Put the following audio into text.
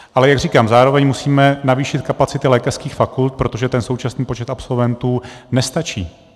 Ale jak říkám, zároveň musíme navýšit kapacity lékařských fakult, protože ten současný počet absolventů nestačí.